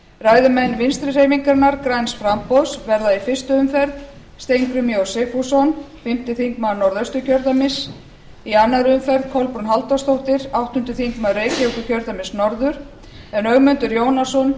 ræðumenn vinstri hreyfingarinnar græns framboðs verða í fyrstu umferð steingrímur j sigfússon fimmti þingmaður norðausturkjördæmis í annarri umferð kolbrún halldórsdóttir áttundi þingmaður reykjavíkurkjördæmis norður en ögmundur jónasson